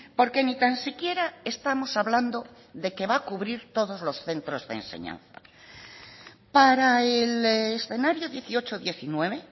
porque ni tan siquiera estamos hablando de que va a cubrir todos los centros de enseñanza para el escenario dieciocho diecinueve